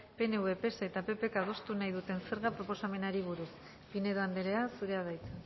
pnv pse eta ppk adostu nahi duten zerga proposamenari buruz pinedo andrea zurea da hitza